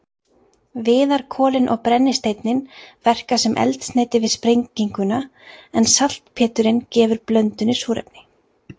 Viðarkolin og brennisteinninn verka sem eldsneyti við sprenginguna en saltpéturinn gefur blöndunni súrefni.